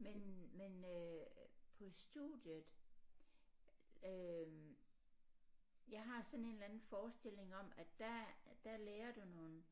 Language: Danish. Men men øh på studiet øh jeg har sådan en eller anden forestilling om at der der lærer du nogle